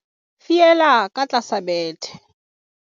fiela ka tlasa bethe